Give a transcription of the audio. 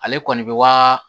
Ale kɔni bɛ waa